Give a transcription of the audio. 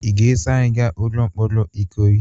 Ị ga-eso anyị gaa ụlọ mkpọrọ ikoyi?